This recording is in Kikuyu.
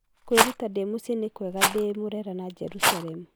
Kwĩruta ndĩ mũciĩ ni kwega ndĩ murera na jerusalem.